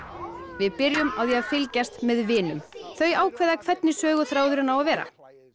við byrjum á því að fylgjast með Vinum þau ákveða hvernig söguþráðurinn á að vera